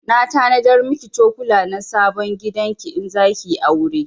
Na tanadar miki cokula na sabon gidan ki in zaki yi aure